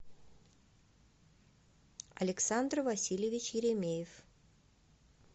александр васильевич еремеев